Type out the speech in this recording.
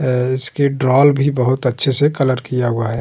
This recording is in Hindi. अ इसके डॉल भी बोहोत अच्छे से कलर किया हुआ है।